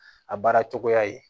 A baara cogoya ye